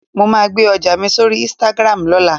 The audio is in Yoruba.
Mo máa gbe ọjà mi sórí "Instagram" lọ́la